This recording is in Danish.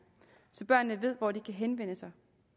så børnene ved hvor de kan henvende sig